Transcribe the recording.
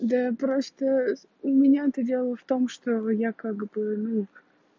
да я просто у меня то дело в том что я как бы ну